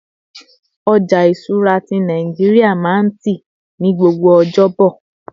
ọja ìṣura ti Naijiria ma n ti ní gbogbo ọjọbo